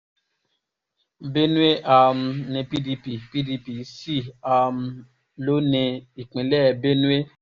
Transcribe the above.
benue um ni pdp pdp ṣì um lò ní ìpínlẹ̀ benue